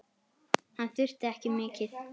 Hann þurfti ekki mikið.